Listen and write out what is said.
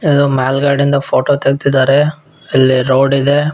ಇದು ಮೇಲ್ಗಡೆ ಇಂದ ಫೋಟೋ ತೆಗ್ದಿದ್ದಾರೆ ಇಲ್ಲಿ ರೋಡ್ ಇದೆ .